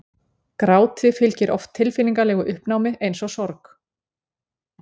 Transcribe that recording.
gráti fylgir oft tilfinningalegu uppnámi eins og sorg